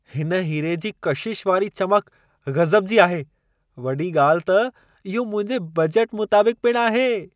हिन हीरे जी कशिश वारी चमक गज़ब जी आहे! वॾी ॻाल्हि त, इहो मुंहिंजे बजट मुताबिक़ पिणु आहे।